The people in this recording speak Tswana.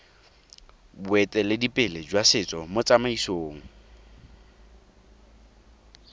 boeteledipele jwa setso mo tsamaisong